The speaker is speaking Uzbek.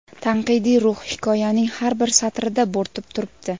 tanqidiy ruh hikoyaning har bir satrida bo‘rtib turibdi.